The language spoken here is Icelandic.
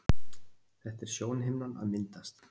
Þetta er sjónhimnan að myndast.